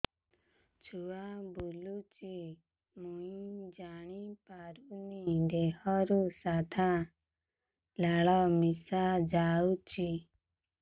ଛୁଆ ବୁଲୁଚି ମୁଇ ଜାଣିପାରୁନି ଦେହରୁ ସାଧା ଲାଳ ମିଶା ଯାଉଚି